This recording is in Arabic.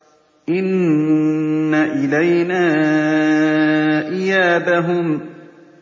إِنَّ إِلَيْنَا إِيَابَهُمْ